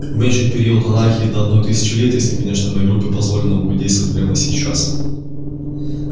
уменьшить период анархии до одной тысячи лет если конечно моей группе позволено будет действовать прямо сейчас